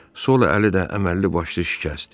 Sol əli də əməlli başlı şikəstdir.